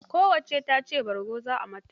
Kowacce ta ce bargo za ai mata.